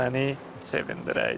Məni sevindirəydin.